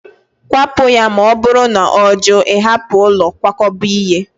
Kwapụ ya, ma ọ bụrụ na ọ jụ ịhapụ ụlọ nkwakọba ihe